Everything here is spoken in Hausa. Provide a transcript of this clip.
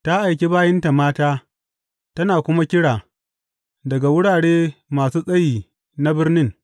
Ta aiki bayinta mata, tana kuma kira daga wurare masu tsayi na birnin.